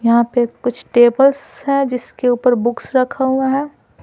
यहां पे कुछ टेबल्स है जिसके ऊपर बुक्स रखा हुआ है।